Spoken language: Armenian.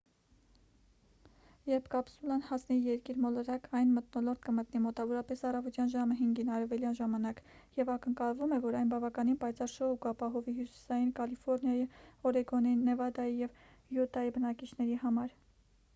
երբ կապսուլան հասնի երկիր մոլորակ այն մթնոլորտ կմտնի մոտավորապես առավոտյան ժամը 5-ին արևելյան ժամանակ և ակնկալվում է որ այն բավական պայծառ շոու կապահովի հյուսիսային կալիֆոռնիայի օրեգոնի նևադայի և յուտայի բնակիչների համար: